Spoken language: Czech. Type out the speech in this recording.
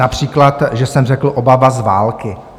Například že jsem řekl "obava z války".